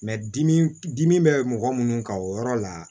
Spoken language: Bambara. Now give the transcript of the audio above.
dimi dimi bɛ mɔgɔ minnu kan o yɔrɔ la